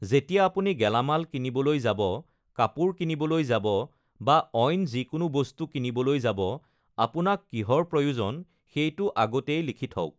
যেতিয়া আপুনি গেলামাল কিনিবলৈ যাব, কাপোৰ কিনিবলৈ যাব বা অইন যিকোনো বস্তু কিনিবলৈ যাব, আপোনাক কিহৰ প্ৰয়োজন সেইটো আগতেই লিখি থওক।